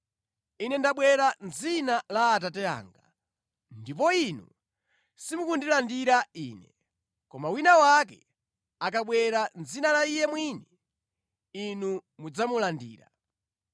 Ine ndabwera mʼdzina la Atate anga, ndipo inu simukundirandira Ine; koma wina wake akabwera mʼdzina la iye mwini, inu mudzamulandira.